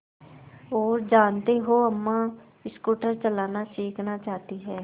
और जानते हो अम्मा स्कूटर चलाना सीखना चाहती हैं